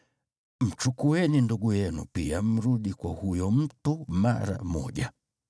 Mchukueni ndugu yenu pia mrudi kwa huyo mtu mara moja.